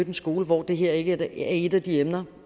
en skole hvor det her ikke er et af de emner